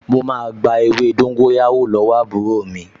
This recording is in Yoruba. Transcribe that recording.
Mo máa gba ewé dóńgóyárò lọ́wọ́ àbúrò mi